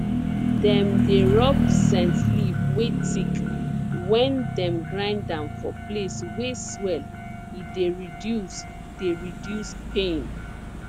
dem dey rub scent leaf wey thick wen dem grind am for place wey swell e dey reduce dey reduce pain